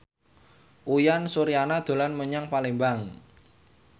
Uyan Suryana dolan menyang Palembang